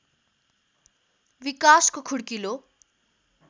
विकासको खुड्किलो